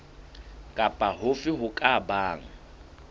kapa hofe ho ka bang